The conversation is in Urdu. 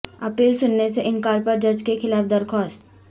اپیل سننے سے انکار پر جج کے خلاف درخواست